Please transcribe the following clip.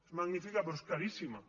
és magnífica però és caríssima